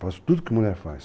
Faço tudo que mulher faz.